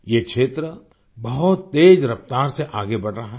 ये क्षेत्र बहुत तेज रफ़्तार से आगे बढ़ रहा है